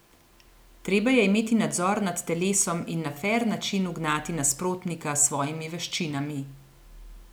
Treba je imeti nadzor nad telesom in na fer način ugnati nasprotnika s svojimi veščinami.